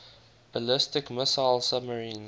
ballistic missile submarines